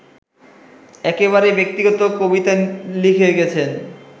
একেবারেই ব্যক্তিগত কবিতা লিখে গেছেন